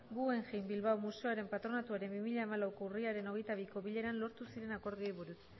guggenheim bilbao museoaren patronatuaren bi mila hamalauko urriaren hogeita biko bileran lortu ziren akordioei buruz